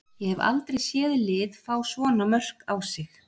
Ég hef aldrei séð lið fá svona mörk á sig.